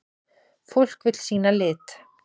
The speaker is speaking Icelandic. Fólk vill sýna lit.